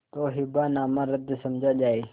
तो हिब्बानामा रद्द समझा जाय